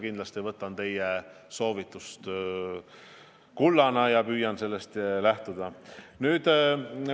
Kindlasti võtan ma teie soovitust kullana ja püüan sellest lähtuda.